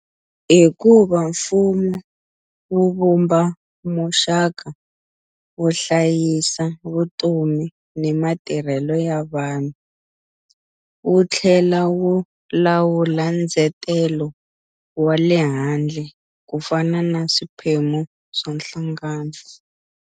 Hikuva mfumo wu vumba muxaka wo hlayisa vutomi ni matirhelo ya vanhu, wu tlhela wu lawula ndzetelo wa le handle ku fana na swiphemu swa nhlangano.